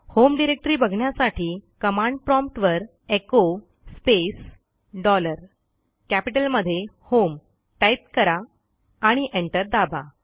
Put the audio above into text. home directory बघण्यासाठी command prompt वर echo space dollar कॅपिटलमधे होम टाईप करा आणि एंटर दाबा